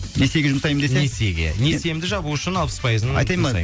несиеге жұмсаймын десе несиеге несиемді жабу үшін алпыс пайызын айтайын ба